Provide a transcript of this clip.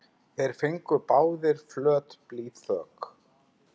Báðir fengu þeir flöt blýþök.